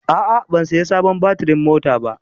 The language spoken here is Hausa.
A'a, ban saya sabon batirin mota ba.